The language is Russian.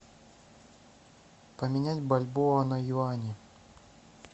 поменять бальбоа на юани